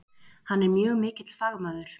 Hann er mjög mikill fagmaður.